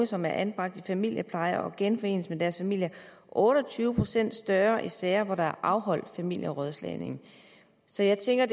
som er anbragt i familiepleje genforenes med deres familier otte og tyve procent større i sager hvor der er afholdt familierådslagning så jeg tænker